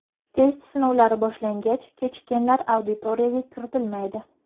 Test sinovlari boshlangach, kechikkanlar auditoriyaga kiritilmaydi.